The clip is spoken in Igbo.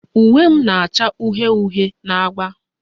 Uwe m na-acha uhie uhie na agba